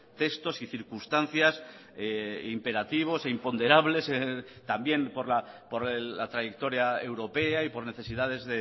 textos y circunstancias imperativos e imponderables también por la trayectoria europea y por necesidades